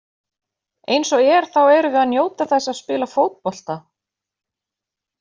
Eins og er þá erum við að njóta þess að spila fótbolta.